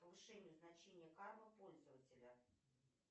повышение значения кармы пользователя